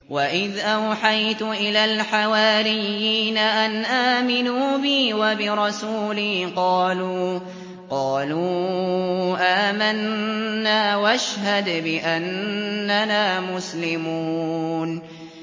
وَإِذْ أَوْحَيْتُ إِلَى الْحَوَارِيِّينَ أَنْ آمِنُوا بِي وَبِرَسُولِي قَالُوا آمَنَّا وَاشْهَدْ بِأَنَّنَا مُسْلِمُونَ